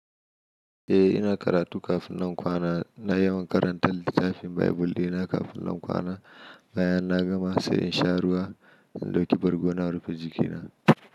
Eh, ina karatu kafin nan kwana. Na yawan karanta littafin Baibul ɗina kafin nan kwana, bayan na gama sai in sha ruwa, in ɗauki bargo na in rufe jikina.